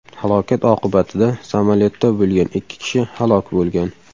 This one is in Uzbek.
Halokat oqibatida samolyotda bo‘lgan ikki kishi halok bo‘lgan.